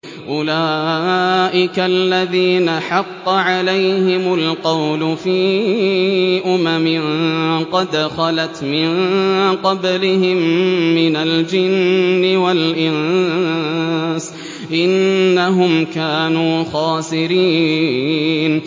أُولَٰئِكَ الَّذِينَ حَقَّ عَلَيْهِمُ الْقَوْلُ فِي أُمَمٍ قَدْ خَلَتْ مِن قَبْلِهِم مِّنَ الْجِنِّ وَالْإِنسِ ۖ إِنَّهُمْ كَانُوا خَاسِرِينَ